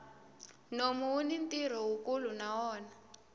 nomu wuni ntirho wukulu na wona